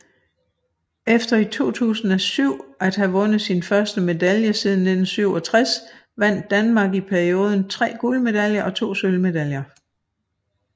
Efter i 2007 at have vundet sin første medalje siden 1967 vandt Danmark i perioden 3 guldmedaljer og 2 sølvmedaljer